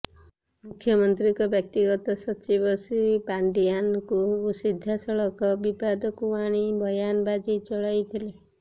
ମୁଖ୍ୟମନ୍ତ୍ରୀଙ୍କ ବ୍ୟକ୍ତିଗତ ସଚିବ ଶ୍ରୀ ପାଣ୍ଡିଆନଙ୍କୁ ସିଧାସଳଖ ବିବାଦକୁ ଆଣି ବୟାନବାଜି ଚଳାଇଥିଲେ